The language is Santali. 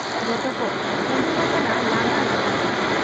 ᱡᱚᱛᱚᱠᱚ ᱚᱰᱚᱠ ᱟᱠᱟᱱᱟ ᱞᱟᱸᱫᱟ ᱞᱟᱸᱫᱟ ᱛᱮ ᱾